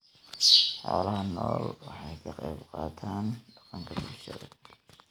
Xoolaha nooli waxa ay ka qayb qaataan dhaqanka bulshada.